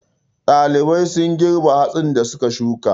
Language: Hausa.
Ɗalibai sun girbe hatsin da su ka shuka.